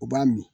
U b'a min